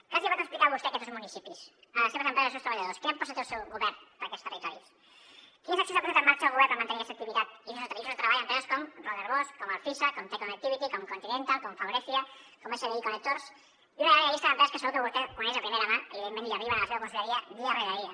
què pot explicar vostè a aquests dos municipis a les seves empreses i als seus treballadors quina proposta té el seu govern per a aquests territoris quines accions ha posat en marxa el govern per mantenir aquesta activitat i llocs de treball en empreses com robert bosch com alfisa com te connectivity com continental com faurecia com sbi connectors i una llarga llista d’empreses que segur que vostè coneix de primera mà i evidentment li arriben a la seva conselleria dia rere dia